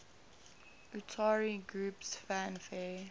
utari groups fanfare